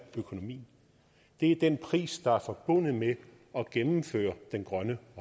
økonomien det er den pris der er forbundet med at gennemføre den grønne